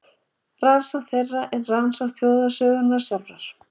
Rannsókn þeirra er rannsókn þjóðarsögunnar sjálfrar.